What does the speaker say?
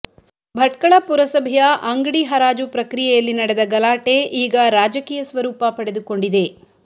ಭಟ್ಕಳ ಪುರಸಭೆಯ ಅಂಗಡಿ ಹರಾಜು ಪ್ರಕ್ರಿಯೆಯಲ್ಲಿ ನಡೆದ ಗಲಾಟೆ ಈಗ ರಾಜಕೀಯ ಸ್ವರೂಪ ಪಡೆದುಕೊಂಡಿದೆ